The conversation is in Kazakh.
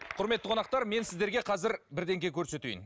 құрметті қонақтар мен сіздерге қазір көрсетейін